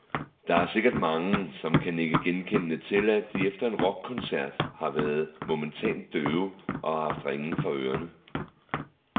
Der er sikkert mange, som kan nikke genkendende til, at de efter en rockkoncert har været momentant døve, og har haft ringen for ørerne.